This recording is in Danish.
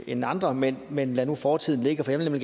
end andre men men lad nu fortiden ligge for jeg vil